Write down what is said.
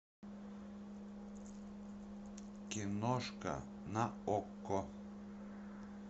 киношка на окко